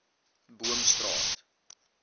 boomstraat